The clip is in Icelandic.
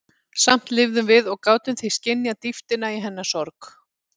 Samt lifðum við og gátum því skynjað dýptina í hennar sorg.